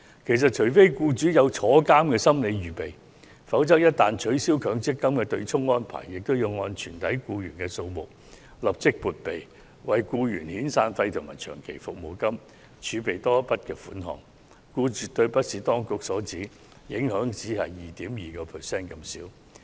其實，除非僱主有坐牢的心理預備，否則一旦取消強積金對沖安排，便要按全體僱員數目立即撥備，為僱員遣散費及長期服務金儲備多一筆款項，因而絕對並非當局所指，只會帶來 2.2% 增幅這麼輕微的影響。